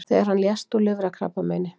Þegar hann lést úr lifrarkrabbameini